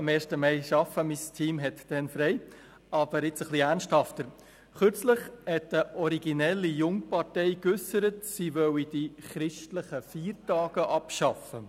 Kürzlich hat eine originelle Jungpartei geäussert, sie wolle die christlichen Feiertage abschaffen.